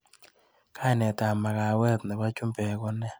Kainetap makawet nebo chumbek ko ne?